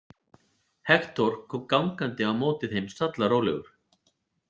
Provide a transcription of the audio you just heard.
Hektor kom gangandi á móti þeim sallarólegur.